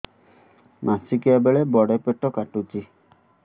ମାସିକିଆ ବେଳେ ବଡେ ପେଟ କାଟୁଚି